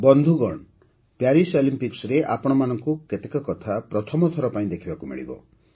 ବନ୍ଧୁଗଣ ପ୍ୟାରିସ୍ ଅଲିମ୍ପିକ୍ସରେ ଆପଣଙ୍କୁ କେତେକ କଥା ପ୍ରଥମ ଥର ପାଇଁ ଦେଖିବାକୁ ମିଳିବ